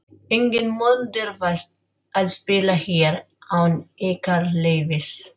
Enginn mun dirfast að spila hér án ykkar leyfis.